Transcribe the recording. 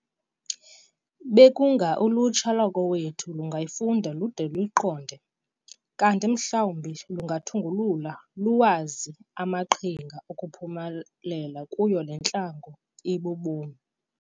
Bekunga ulutsha lwakowethu lungayifunda lude luyiqonde, kanti mhlawumbi lungathungulula luwazi amaqhinga okuphumelela kuyo le ntlango yobu bomi.